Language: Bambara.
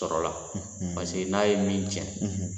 Paseke n'a ye min tiɲɛ